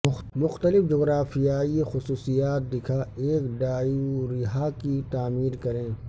مختلف جغرافیائی خصوصیات دکھا ایک ڈائورہا کی تعمیر کریں